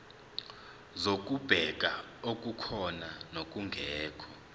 zokubheka okukhona nokungekho